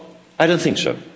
I don't think so.